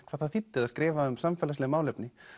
hvað það þýddi að skrifa um samfélagsleg málefni